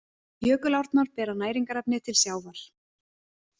Jökulárnar bera næringarefni til sjávar.